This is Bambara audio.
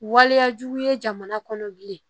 Waleyajugu ye jamana kɔnɔ bilen